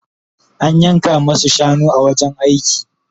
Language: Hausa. An yanka masu shanu a wajen aiki